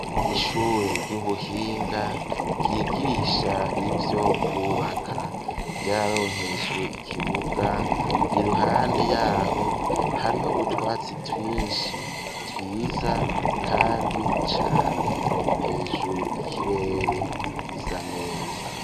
Ishure ry'ubuhinga ryigisha ivyo kubaka ryaronkejwe ikibuga iruhande yaho hariho utwatsi twishi twiza kandi cane hejuru ikirere gisa neza.